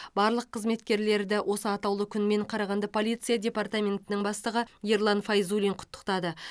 барлық қызметкерлерді осы атаулы күнмен қарағанды полиция департаментінің бастығы ерлан файзуллин құттықтады